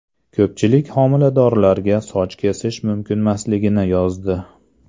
Ko‘pchilik homiladorlarga soch kesish mumkinmasligini yozdi.